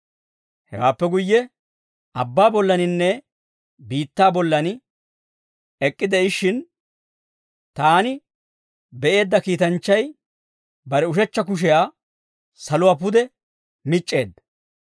Hewaappe guyye, abbaa bollaaninne biittaa bollan ek'k'ide'ishshin taani be'eedda kiitanchchay, bare ushechcha kushiyaa saluwaa pude mic'c'eedda.